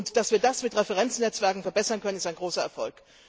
Dass wir das mit Referenznetzwerken verbessern können, ist ein großer Erfolg.